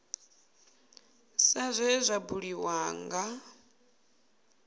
sa zwe zwa buliwa nga